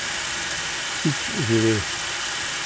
Sič že ve.